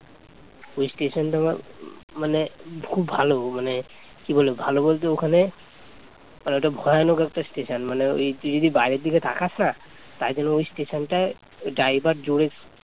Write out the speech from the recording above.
ওই স্টেশন টা আবার মানে খুব ভালো মানে কি বলবো ভালো বলতে ওখানে ওটা ভয়ানক একটা স্টেশন মানে ওই কি তুই যদি বাইরের দিকে তাকাস না তাই জন্য ওই স্টেশন টায় driver জোরে